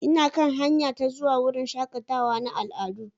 Ina kan hanya ta zuwa wurin shakatawa na al'adu.